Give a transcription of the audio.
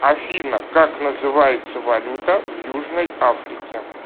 афина как называется валюта в южной африке